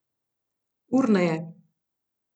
Urneje.